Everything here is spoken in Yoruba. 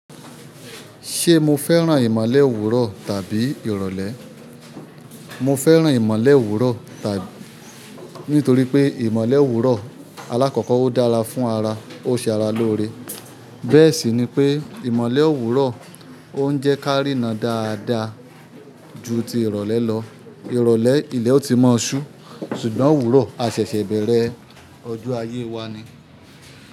Ṣé mo fẹ́ràn ìmọ̀lẹ̀ òwúrọ̀ tàbí ìrọ̀lẹ́? Mọ fẹ́ràn ìmọ̀le òwúrọ̀ tàbí nítorí pé ìmọ̀le òwúrọ̀ alákọ̀kọ́ ó dára fún ara, ó ṣe ara lóore. Bẹ́ẹ̀ sì ni pé ìmọ̀le òwúrọ̀ ó ń jẹ́ kárí ná dáadáa ju ti ìrọ̀lẹ́ lọ. Ìrọ̀lẹ́ ilẹ̀ ó ti máa ṣú ṣùgbọ́n òwúrọ̀ asẹ̀ṣẹ̀-bẹ̀rẹ̀ ọjọ́ ayé wa ni.